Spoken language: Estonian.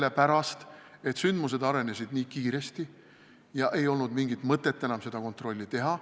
Sellepärast, et sündmused arenesid nii kiiresti ja ei olnud mingit mõtet enam seda kontrolli teha.